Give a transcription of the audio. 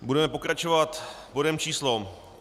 Budeme pokračovat bodem číslo